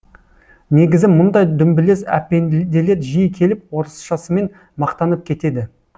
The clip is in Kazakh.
негізі мұндай дүмбілез әпенделер жиі келіп орысшасымен мақтанып кетеді